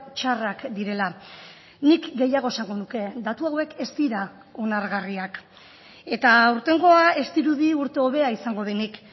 txarrak direla nik gehiago esango nuke datu hauek ez dira onargarriak eta aurtengoa ez dirudi urte hobea izango denik